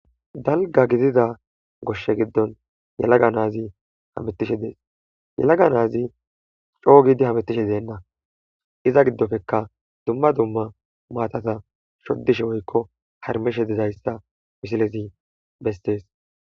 Dalgga gidiza goshshe giddon yelaga naazi hameththishe dees; yalaga naazi coo gidi hameththishe deenna; iza giddofeka dzumma dzumma maathatha shoddishe woykko harmeshe dizayssa misilezi besththees.